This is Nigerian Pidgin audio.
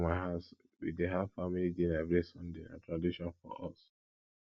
for my house we dey have family dinner every sunday na tradition for us